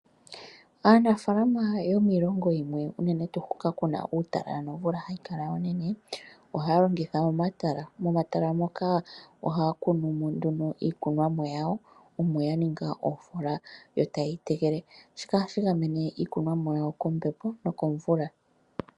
Aanafaalama yomiilongo yimwe unene tuu hoka ku na uutalala nomvula hayi kala onene ohaya longitha omatala. Momatala moka ohaya kunu mo nduno iikunwa yawo omo ya ninga oofola yo ta yeyi tekele, shika ohashi gamene iikunomwa yawo kombepo nokomvula.